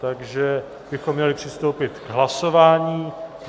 Takže bychom měli přistoupit k hlasování.